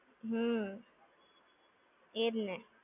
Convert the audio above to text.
હમ્મ. એ જ ને!